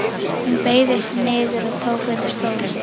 Hún beygði sig niður og tók undir stólinn.